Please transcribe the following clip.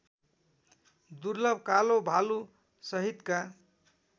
दुर्लभ कालो भालुसहितका